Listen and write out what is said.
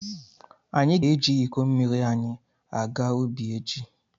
Anyị ga-eji iko mmiri anyị aga ubi echi.